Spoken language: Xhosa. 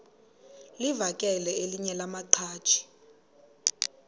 livakele elinye lamaqhaji